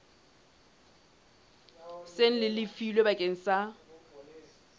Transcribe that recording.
seng le lefilwe bakeng sa